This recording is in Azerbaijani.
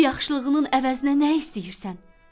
Bu yaxşılığının əvəzinə nə istəyirsən?